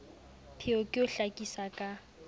pheo ke ho hlakisa ka